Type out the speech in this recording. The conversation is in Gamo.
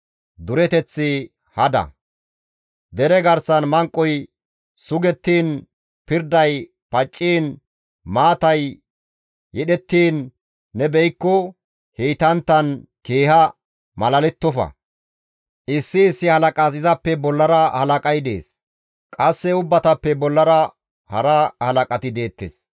Dere garsan manqoy sugettiin, pirday pacciin, maatay yedhettiin ne be7ikko heytanttan keeha malalettofa. Issi issi halaqaas izappe bollara halaqay dees; qasse ubbatappe bollara hara halaqati deettes.